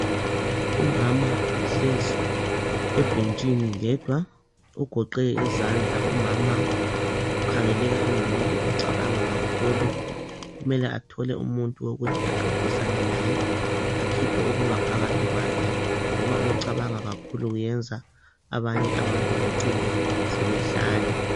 Umama uhlezi ebhentshini yedwa ugoqe izandla umama ukhangeleka engumuntu ocabanga kakhulu kumele athole umuntu wokuthi axoxisane laye akhiphe okungaphakathi kwakhe ngoba ukucabanga kakhulu kuyenza abanye abantu becine sebehlanya.